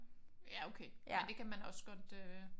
Ja okay. Men det kan man også godt øh